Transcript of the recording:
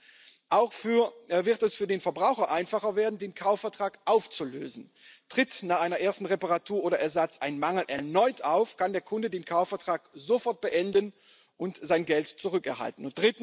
Zweitens wird es für den Verbraucher einfacher werden, den Kaufvertrag aufzulösen. Tritt nach einer ersten Reparatur oder einem Ersatz ein Mangel erneut auf, kann der Kunde den Kaufvertrag sofort beenden und sein Geld zurückerhalten.